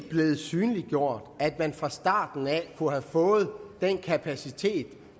synliggjort at man fra starten af kunne have fået den kapacitet